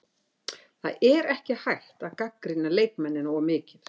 Það er ekki hægt að gagnrýna leikmennina of mikið.